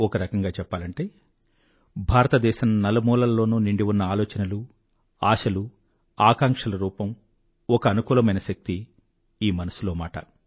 ఒక రకంగా చెప్పాలంటే భారతదేశం నలుమూలల్లోనూ నిండి ఉన్నఆలోచనలు ఆశలు ఆకాంక్షల రూపం ఒక అనుకూలమైన శక్తి ఈ మనసులో మాట